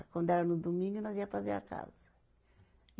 Quando era no domingo, nós ia fazer a casa.